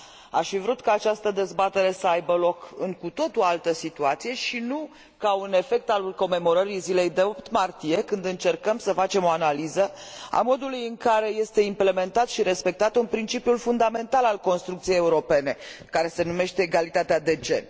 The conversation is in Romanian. Aș fi vrut ca această dezbatere să aibă loc într o cu totul altă situație, și nu ca un efect al sărbătoririi zilei de 8 martie, când încercăm să facem o analiză a modului în care este implementat și respectat un principiu fundamental al construcției europene, care se numește egalitatea de gen.